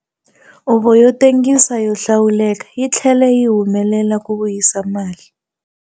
Huvo yo Tengisa yo Hlawuleka yi tlhele yi humelela ku vuyisa mali